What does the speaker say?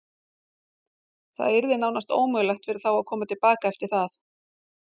Það yrði nánast ómögulegt fyrir þá að koma til baka eftir það.